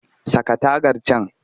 Saka tagar can!